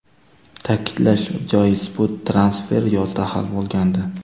Ta’kidlash joiz, bu transfer yozda hal bo‘lgandi.